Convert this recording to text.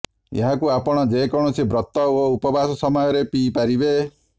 ଏହାକୁ ଆପଣ ଯେକୌଣସି ବ୍ରତ ଓ ଉପବାସ ସମୟରେ ପିଇପାରିବେ